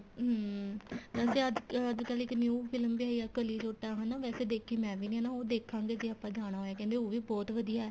ਹਮ ਵੈਸੇ ਅੱਜ ਅੱਜਕਲ ਇੱਕ new film ਵੀ ਆਈ ਏ ਕਲੀ ਜੋਟਾ ਹਨਾ ਵੈਸੇ ਦੇਖੀ ਮੈਂ ਵੀ ਨੀ ਨਾ ਉਹ ਦੇਖਾ ਗੇ ਜੇ ਆਪਾਂ ਜਾਣਾ ਹੋਏ ਕਹਿੰਦੇ ਉਹ ਵੀ ਬਹੁਤ ਵਧੀਆ